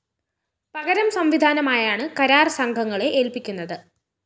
പകരം സംവിധാനമായാണ് കരാര്‍ സംഘങ്ങളെ ഏല്‍പിക്കുന്നത്